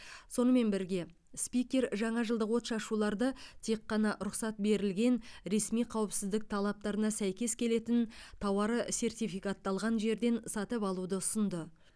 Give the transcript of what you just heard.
сонымен бірге спикер жаңажылдық отшашуларды тек қана рұқсат берілген ресми қауіпсіздік талаптарына сәйкес келетін тауары сертификатталған жерден сатып алуды ұсынды